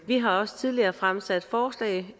har også tidligere fremsat forslag